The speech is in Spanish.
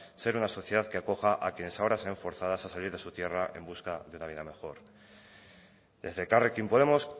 ser una sociedad que acoja a quiénes ahora se ven forzadas a salir de su tierra en busca de una vida mejor desde elkarrekin podemos